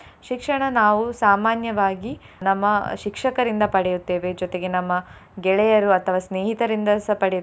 ಶಿಕ್ಷಣ ನಾವು ಸಾಮಾನ್ಯವಾಗಿ ನಮ್ಮ ಶಿಕ್ಷಕರಿಂದ ಪಡೆಯುತ್ತೇವೆ ಜೊತೆಗೆ ನಮ್ಮ ಗೆಳೆಯರು ಅಥವಾ ಸ್ನೇಹಿತರಿಂದ ಸಹ ಪಡೆಯುತ್ತೇವೆ ನಮ್ಮ.